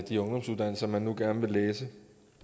de ungdomsuddannelser man nu gerne vil læse det